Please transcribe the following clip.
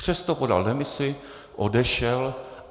Přesto podal demisi, odešel.